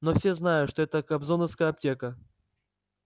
но все знают что это кобзоновская аптека